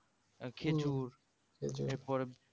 আহ খেজুর এরপরে